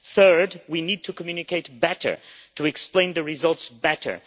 Thirdly, we need to communicate better, to explain the results better.